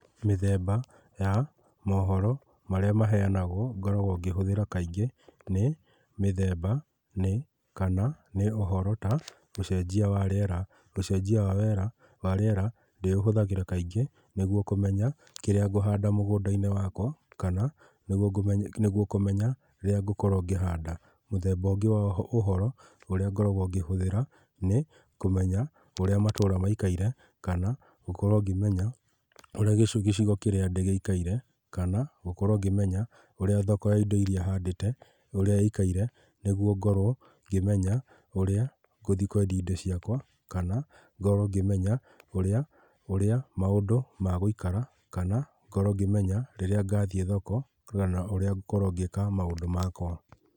Mĩthemba ya mohoro, marĩa maheanagwo ngoragwo ngĩhũthĩra kaingĩ nĩ mĩthemba, nĩ kana nĩ ũhoro ta, ũcenjia wa rĩera. Ũcenjia wa wera , wa rĩera ndĩũhũthagira kaingĩ nĩguo kũmenya kĩrĩa ngũhanda mũgũnda-inĩ wakwa, kana nĩgũo kũmenya rĩrĩa ngũkorwo ngĩhanda. Mũthemba ũngĩ wa ũhoro ũrĩa ngoragwo ngĩhũthĩra nĩ kũmenya ũrĩa matũra maikaire, kana gũkorwo ngĩmenya ũrĩa gĩcigo kĩrĩa ndĩ gĩikaire, kana gũkorwo ngĩmenya ũrĩa thoko ya indo iria handĩte ũrĩa ĩikaire, nĩguo ngorwo ngĩmenya ũrĩa ngũthiĩ kwendia indo ciakwa, kana ngorwo ngĩmenya ũrĩa, urĩa maũndũ megũikara, kana ngorwo ngĩmenya rĩrĩa ngathiĩ thoko, kana ũria ngũkorwo ngĩĩka maũndũ makwa.